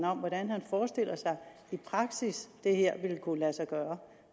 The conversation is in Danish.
om hvordan han i praksis det her vil kunne lade sig gøre